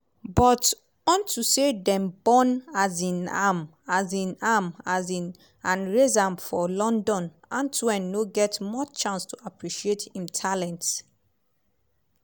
but onto say dem born um am um am um and raise am for london antoine no get much chance to appreciate im talents.